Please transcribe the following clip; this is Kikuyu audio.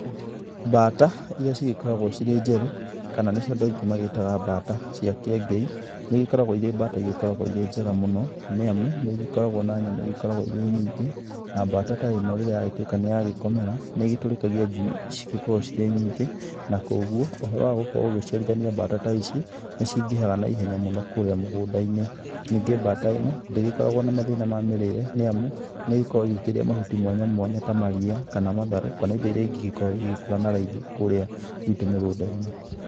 Bata irĩa cigĩkoragwo cirĩ njerũ kana nĩcio adu aingĩ magĩĩtaga bata cia kĩengei nĩigĩkoragwo irĩ bata irĩ njega mũno, nĩamu nĩigikoragwo na nyama igĩkoragwo irĩ nyingĩ , na bata ta ĩno rĩrĩa yagĩtũĩka nĩyagĩkomera nĩĩgĩtũrĩkagia njũi cingĩkorwo cirĩ nyingĩ na kogwo ũhoro wa gũkorwo ũgĩciarithania bata ta ici nĩcingĩhaga na ihenya mũno kũrĩa mũgũda-inĩ, ningĩ bata ĩno ndĩgĩkoragwo na mathĩna ma mĩrĩre, nĩamu nĩgĩkoragwo ĩkĩrĩa mahuti mwanya mwanya ta maria kana matharũ kana indo iria ingĩgĩkorwo igĩkura na raithi kũrĩa gwitu mĩgũnda-inĩ.